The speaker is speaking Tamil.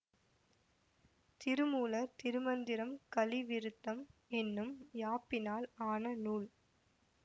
திருமூலர் திருமந்திரம் கலி விருத்தம் என்னும் யாப்பினால் ஆன நூல்